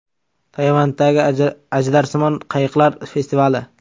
Tayvandagi ajdarsimon qayiqlar festivali.